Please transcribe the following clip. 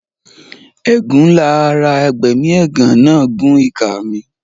Ẹ̀gún ńlá ara abẹmiẹ̀gán náà gún ìka mi.